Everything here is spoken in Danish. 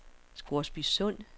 Scoresbysund